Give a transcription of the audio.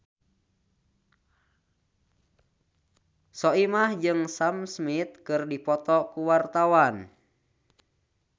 Soimah jeung Sam Smith keur dipoto ku wartawan